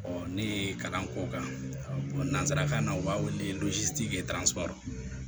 ne ye kalan k'o kan nanzarakan na u b'a wele